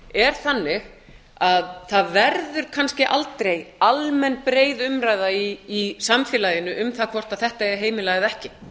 er þannig að það verður kannski aldrei almenn breið umræða í samfélaginu um það hvort þetta eigi að heimila eða ekki